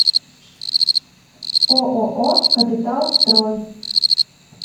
ооо капиталстрой